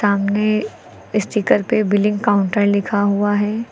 सामने स्टीकर पे billing counter लिखा हुआ है।